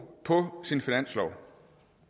på sin finanslov